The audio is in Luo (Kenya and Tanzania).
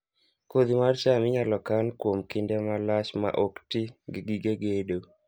Kodhi mar cham inyalo kan kuom kinde malach maok ti gi gige gedo